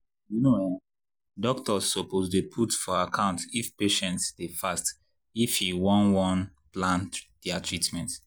you know[um]goctors suppose dy put for account if patients dey fast if he wan wan plan their treatment